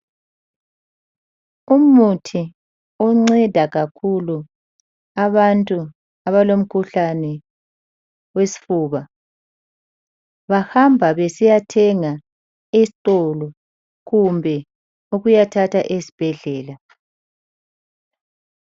Umuthi unceda kakhulu abantu abalo mkhuhlane wesifuba bahamba besiyathenga esitolo kumbe ukuyathatha esibhedlela